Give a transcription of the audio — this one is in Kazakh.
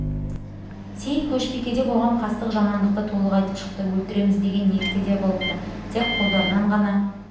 сейіт көшбикеде болған қастық жамандықты толық айтып шықты өлтіреміз деген ниетте де болыпты тек қолдарынан ғана